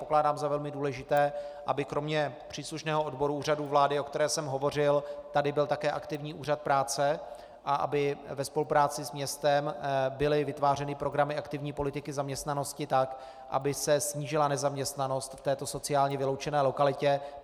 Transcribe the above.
Pokládám za velmi důležité, aby kromě příslušného odboru Úřadu vlády, o kterém jsem hovořil, tady byl také aktivní Úřad práce a aby ve spolupráci s městem byly vytvářeny programy aktivní politiky zaměstnanosti tak, aby se snížila nezaměstnanost v této sociálně vyloučené lokalitě.